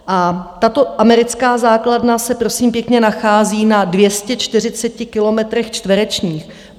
A tato americká základna se prosím pěkně nachází na 240 kilometrech čtverečních.